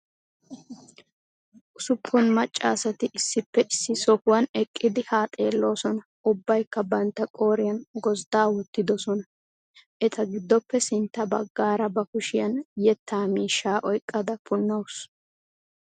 Ussuppun macca asati issippe issi sohuwan eqqidi haa xeelloosona. Ubbaykka bantta qooriyan gozddaa wottiddosona. Eta giddoppe sintta baggaara ba kushshiyan yettaa miishshaa oyqqada puunawusu.